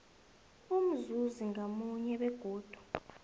umzuzi ngamunye begodu